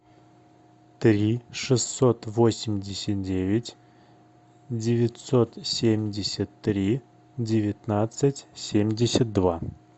три шестьсот восемьдесят девять девятьсот семьдесят три девятнадцать семьдесят два